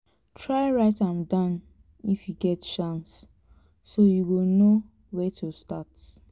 try write am down if yu get chance so yu go no wia to start